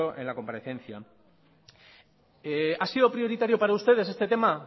ha sido prioritario para ustedes este tema